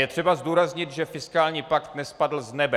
Je třeba zdůraznit, že fiskální pakt nespadl z nebe.